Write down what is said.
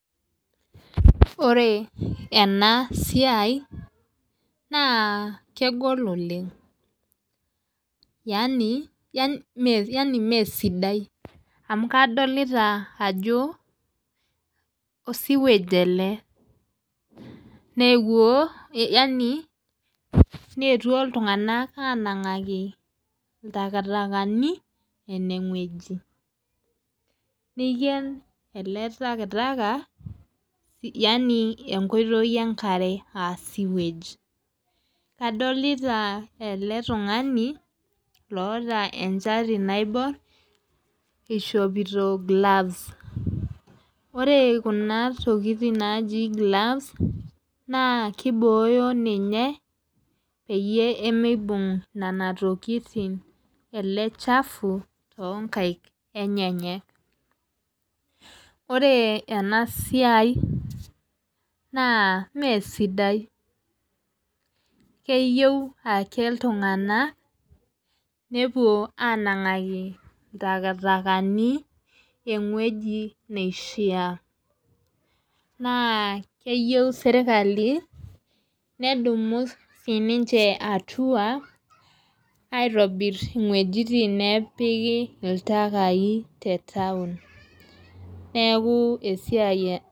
Ore enaa siai naa kegol oleng'. Yaani mesidai. Amu kadolita ajo osiwej ele. Nee ewuo yaani netuo iltung'ana anang'aku iltaktakani ene weji. Niken ele takitaki yaani enkoitoi enkare aa sewege. Kadolita ele tung'ani loota enchati naibor ishopiito gloves. Ore kun tokitin taji gloves naa kiboya ninye peyie mibung' nena tokitin ele chafu too nkaik enyenyek. Ore ena siai naa mee sidai keyeu ake iltung'anak nepuo anang'aku iltaktakani eweji neishaa. Naa keyeu serikali nedumu sii ninche hatua aitobir inguejitin nepiki iltakai te town. Neeku esiai.